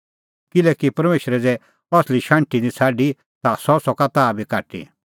किल्हैकि परमेशरै ज़ै असली शाण्हटी निं छ़ाडी ता सह सका ताह बी काटी